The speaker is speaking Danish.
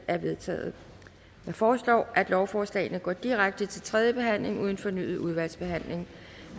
er vedtaget jeg foreslår at lovforslaget går direkte til tredje behandling uden fornyet udvalgsbehandling